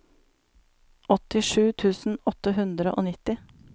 åttisju tusen åtte hundre og nitti